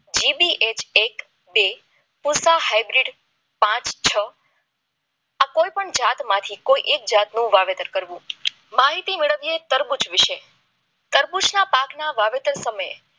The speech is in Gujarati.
જી બી એચ એટ એપાહ હાઈડ્રેટ પાંચ છ આ કોઈપણ જાતમાંથી એક જાતનું વાવેતર કરવું માહિતી મેળવવીએ તરબૂચ વિશે તરબૂચના પાકમાં વાવેતર સમયે